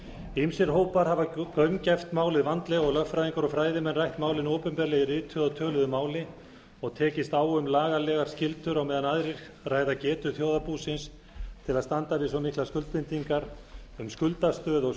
ýmsir hópar hafa gaumgæft málið vandlega og lögfræðingar og fræðimenn rætt málin opinberlega í rituðu og töluðu máli og tekist á um lagalegar skyldur á meðan aðrir ræða getu þjóðarbúsins til að standa við svo miklar skuldbindingar um skuldastöðu og